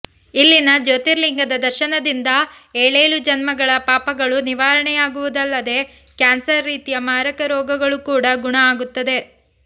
ಇಲ್ಲಿನ ಜ್ಯೋತಿರ್ಲಿಂಗದ ದರ್ಶನದಿಂದ ಏಳೇಳು ಜನ್ಮಗಳ ಪಾಪಗಳೂ ನಿವಾರಣೆಯಾಗುವುದಲ್ಲದೆ ಕ್ಯಾನ್ಸರ್ ರೀತಿಯ ಮಾರಕ ರೋಗಗಳೂ ಕೂಡ ಗುಣ ಆಗುತ್ತದೆ